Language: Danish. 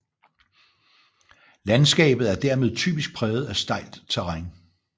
Landskabet er dermed typisk præget af stejlt terræn